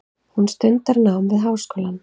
Hún stundar nám við háskólann.